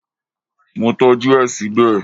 Mo tọ́jú ẹ síbẹ̀